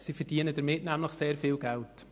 Sie verdienen damit nämlich sehr viel Geld.